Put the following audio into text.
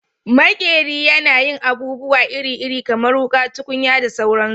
Maƙeri yana yin abubuwa iri-iri kamar wuƙa, tukunya da sauransu